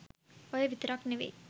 ඔය විතරක් නෙමෙයි